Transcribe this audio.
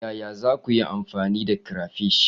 Yaya za ku yi amfani da crayfish?